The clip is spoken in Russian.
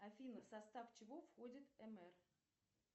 афина в состав чего входит эмэр